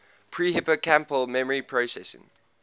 pre hippocampal memory processing